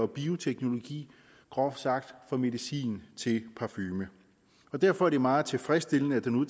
bioteknologi groft sagt i fra medicin til parfume derfor er det meget tilfredsstillende at der nu